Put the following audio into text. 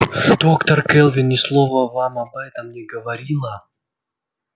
доктор кэлвин ни слова вам об этом не говорила